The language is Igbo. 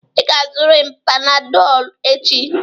Ị ga-azụrịrị Panadolụ echi!